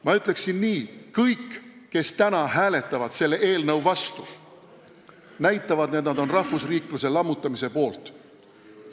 Ma ütleksin nii: kõik, kes hääletavad täna selle eelnõu vastu, näitavad, et nad on rahvusriikluse lammutamise poolt.